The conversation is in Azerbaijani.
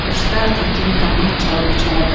Quşlar təkin qanad çalıb uçardım.